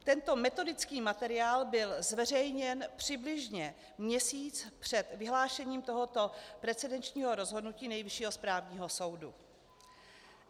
Tento metodický materiál byl zveřejněn přibližně měsíc před vyhlášením tohoto precedenčního rozhodnutí Nejvyššího správního soudu.